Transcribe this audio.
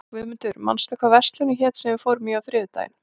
Guðmundur, manstu hvað verslunin hét sem við fórum í á þriðjudaginn?